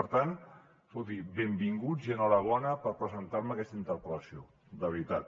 per tant escolti benvinguts i enhorabona per presentar me aquesta interpel·lació de veritat